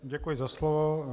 Děkuji za slovo.